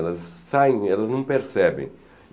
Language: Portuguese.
Elas saem, elas não percebem.